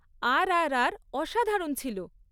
আরআরআর, অসাধারণ ছিল।